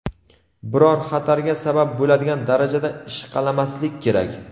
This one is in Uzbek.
biror xatarga sabab bo‘ladigan darajada ishqalamaslik kerak.